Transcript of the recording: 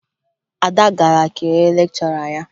Ada gara kelee lekchọra ya